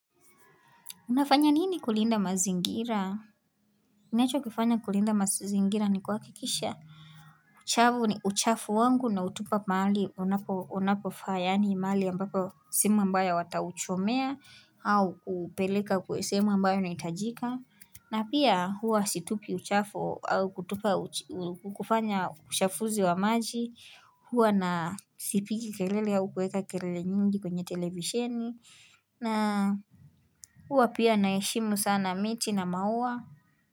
Unafanya nini kulinda mazingira? Ninacho kifanya kulinda mazingira ni kwa kikisha? Chavu ni uchafu wangu nautupa mahali unapofaa yaani mahali ambapo sehemu ambayo watauchomea au upeleka kuesemu ambayo nitajika na pia huwa situpi uchafu au kutupa uchafu wa maji huwa na sipigi kelele au kueka kelele nyingi kwenye televisheni na uwa pia naheshimu sana miti na maua.